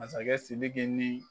Masakɛ Sidiki ni